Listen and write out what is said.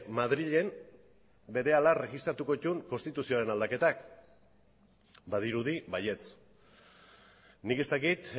madrilen berehala erregistratuko dituen konstituzioaren aldaketak badirudi baietz nik ez dakit